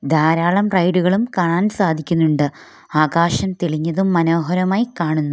ധാരാളം റൈഡുകളും കാണാൻ സാധിക്കുന്നുണ്ട് ആകാശം തെളിഞ്ഞതും മനോഹരമായി കാണുന്നു.